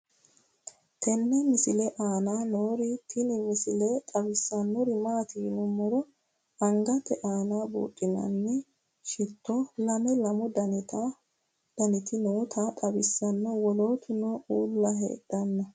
tenne misile aana noorina tini misile xawissannori maati yinummoro angatte aanna buudhinaanni shitto lame lamu dannitti nootta xawissanno woloottunno uulla heerenna